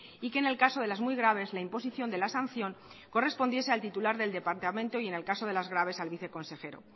y que en el caso de las muy graves la imposición de la sanción correspondiese al titular del departamento y en el caso de las graves al viceconsejero